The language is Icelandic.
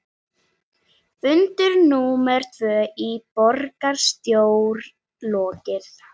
Fundi númer tvö í borgarstjórn lokið